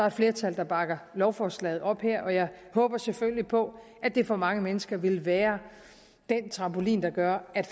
et flertal der bakker lovforslaget op og jeg håber selvfølgelig på at det for mange mennesker vil være den trampolin der gør at